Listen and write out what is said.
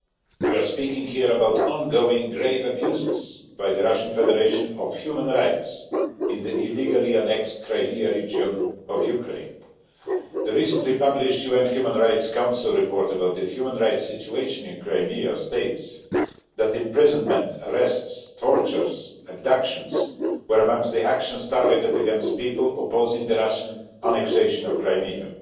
We are speaking here about ongoing grave abuses by the Russian Federation of human rights in the illegally annexed Crimea region of Ukraine. The recently published UN Human Rights Council report about the human rights situation in Crimea states that imprisonments, arrests, tortures and abductions were amongst the actions targeted against people opposing the Russian annexation of Crimea.